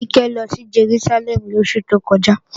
Kíkẹ́ lọ sí Jerúsálẹ́mù lóṣù tó kọjá